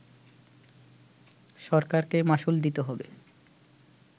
সরকারকে মাশুল দিতে হবে